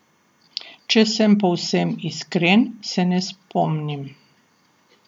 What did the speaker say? Če sem povsem iskren, se ne spomnim.